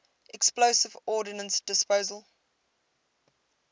explosive ordnance disposal